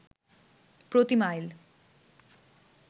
প্রতি মাইল